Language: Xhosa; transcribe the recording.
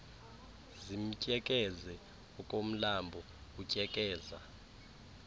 zimtyekeze okomlambo utyekeza